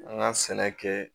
An ka sɛnɛ kɛ